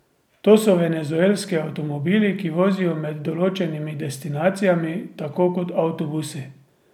To so venezuelski avtomobili, ki vozijo med določenimi destinacijami, tako kot avtobusi.